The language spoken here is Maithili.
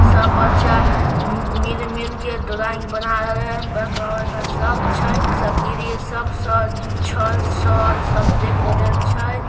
सब बच्चा मिल-मिल के ड्राइंग बना रहले है। बड़का-बड़का सब छै सब ग्रिल सब छड़ सब सब देख रहल छै।